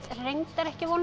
reyndar ekki von á